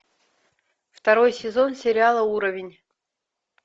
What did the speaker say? второй сезон сериала уровень